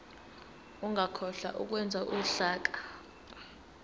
ungakhohlwa ukwenza uhlaka